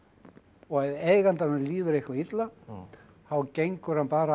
og ef eigandanum líður eitthvað illa þá gengur hann bara